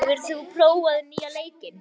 Þyri, hefur þú prófað nýja leikinn?